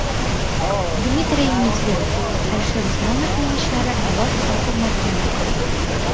Dmitriy Medvedev: Alisher Usmonovning ishlari alohida hurmatga loyiq.